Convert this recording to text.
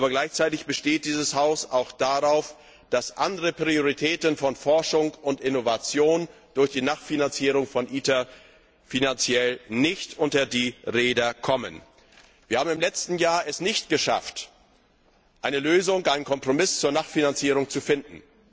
Aber gleichzeitig besteht dieses Haus auch darauf, dass andere Prioritäten von Forschung und Innovation durch die Nachfinanzierung von ITER finanziell nicht unter die Räder kommen. Wir haben es im letzten Jahr nicht geschafft, eine Lösung, einen Kompromiss zur Nachfinanzierung zu finden.